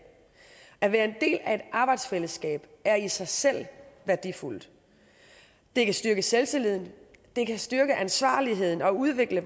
at være en del af et arbejdsfællesskab er i sig selv værdifuldt det kan styrke selvtilliden det kan styrke ansvarligheden og udvikle